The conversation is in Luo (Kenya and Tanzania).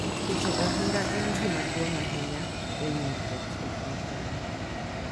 Keto ohinga en gima duong’ ahinya e winjruok e kind dhano,